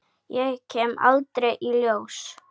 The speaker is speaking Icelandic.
Ég kem aldrei í ljós.